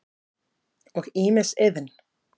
og ýmis iðn.